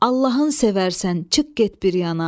Allahın sevərsən, çıx get bir yana.